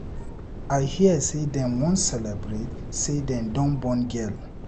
I hear say dem wan celebrate say dem don born girl